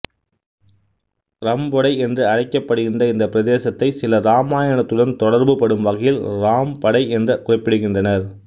றம்பொடை என்று அழைக்கப்படுகின்ற இந்த பிரதேசத்தை சிலர் இராமாயணத்துடன் தொடர்புபடும் வகையில் ராம்படை என்று குறிப்பிடுகின்றனர்